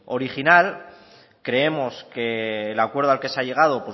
original creemos que el acuerdo al que se ha llegado